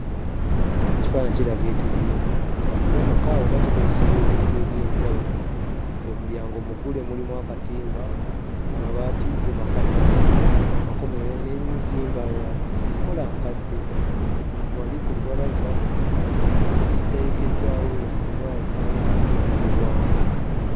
Ekifaananyi kiraga ekizimbe, kyandiba maka oba kikozesebwa ebintu eby'enjawulo, ng'omulyango muggule mulimu akatimba amabaati go makaddeko makomerere n'enzimba ya nkola nkadde. Wali ku lubalaza ekiteekeddwawo yandiba efaanana ng'endabirwamu.